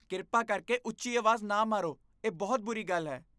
ਕਿਰਪਾ ਕਰਕੇ ਉੱਚੀ ਆਵਾਜ਼ ਨਾ ਮਾਰੋ, ਇਹ ਬਹੁਤ ਬੁਰੀ ਗੱਲ ਹੈ।